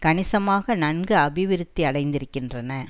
கணிசமாக நன்கு அபிவிருத்தி அடைந்திருக்கின்றன